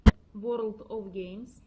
ворлд оф геймс